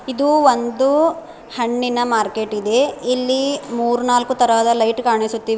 ಇದು ಒಂದು ಹಣ್ಣಿನ ಮಾರ್ಕೆಟ್ ಇದೆ ಇಲ್ಲಿ ಮುರ ನಾಲ್ಕು ತರಹದ ಲೈಟ್ ಕಾಣಿಸುತ್ತಿವೆ.